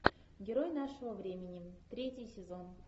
герой нашего времени третий сезон